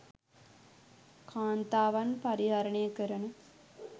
කාන්තාවන් පරිහරණය කරන